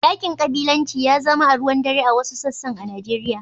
Yaƙin ƙabilanci ya zama aruwan dare a wasu sassan a Nijeriya.